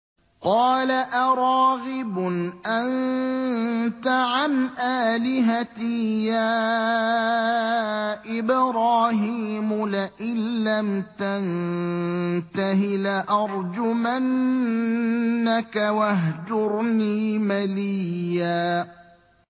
قَالَ أَرَاغِبٌ أَنتَ عَنْ آلِهَتِي يَا إِبْرَاهِيمُ ۖ لَئِن لَّمْ تَنتَهِ لَأَرْجُمَنَّكَ ۖ وَاهْجُرْنِي مَلِيًّا